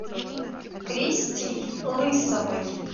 кристей лысовой